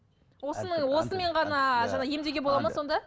осының осымен ғана жаңағы емдеуге болады ма сонда